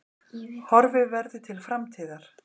Horfi verður til framtíðar